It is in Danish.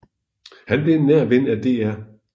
Han blev en nær ven af Dr